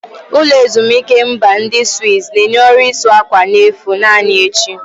Ụlọ ezimuike mba ndi Swizz na-enye ọrụ ịsa ákwà n'efu naanị echi.